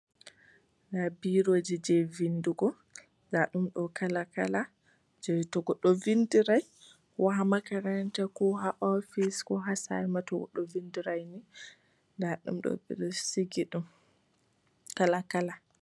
Nda biroji je vindugo nda ɗum kala kala, je to goɗɗo vindirai ko ha makaranta, ko ha ofis, ko ha sare ma to goɗɗo vindirai nda ɗum ɗo ɓe ɗo sigi ɗum kala kala.